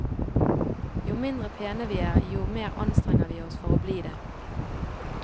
Jo mindre pene vi er, jo mere anstrenger vi oss for å bli det.